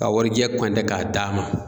K'a warijɛ kɔntɛ k'a d'a ma.